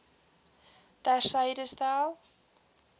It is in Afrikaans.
ter syde stel